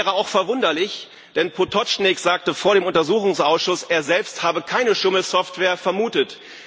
Das wäre auch verwunderlich, denn Potočnik sagte vor dem Untersuchungsausschuss, er selbst habe keine Schummel Software vermutet.